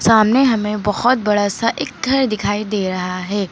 सामने हमें बहुत बड़ा सा एक घर दिखाई दे रहा है।